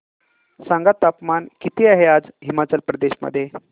सांगा तापमान किती आहे आज हिमाचल प्रदेश मध्ये